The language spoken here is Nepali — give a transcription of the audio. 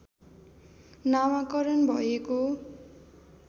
नामाकरण भएको